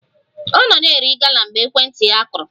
Ọ nọ na-eri gala mgbe ekwentị ya kụrụ